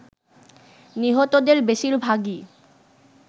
নিহতদের বেশিরভাগই